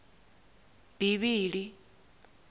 bivhili